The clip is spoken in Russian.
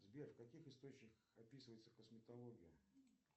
сбер в каких источниках описывается косметология